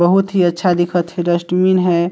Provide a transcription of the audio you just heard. बहुत ही अच्छा दिखत थे डस्टबीन हे।